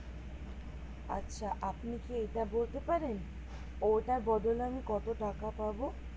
আচ্ছা আপনি কি এটা বলতে পারেন ওটার বদলে আমি কত টাকা পাবো?